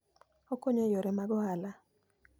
Okonyo e yore mag ohala.